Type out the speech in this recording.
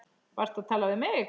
Varstu að tala við mig?